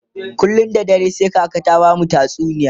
kullum da dare sai kaka ta bamu tatsuniya